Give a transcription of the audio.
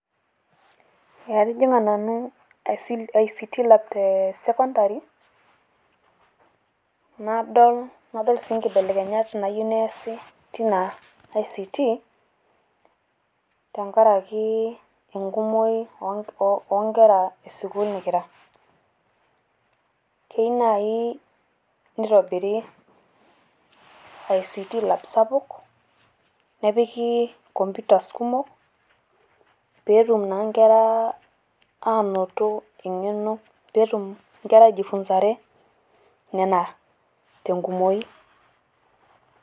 atijing'a nanu ict lab te secondary ,nadol sii nkebelekenyat naayieu neesi teina ict te nkaraki nkera kumok e sukuul nikira, keyieu naaji nitobiri, ictlab sapuk nepiki computers kumok, pee etum nkera eng'eno. pee etum inkera nena tenkumoi.